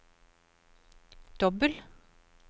dobbel